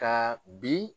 Ka bi